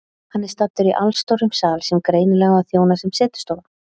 Hann er staddur í allstórum sal sem greinilega á að þjóna sem setustofa.